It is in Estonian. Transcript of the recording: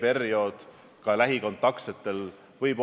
Mõnes mõttes ma igal juhul siseministri ütlust põhimõtteliselt toetan.